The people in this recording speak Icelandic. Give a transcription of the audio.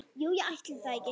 Jú, ætli það ekki.